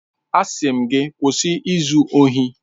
Asị m gị kwụsị izu ohi!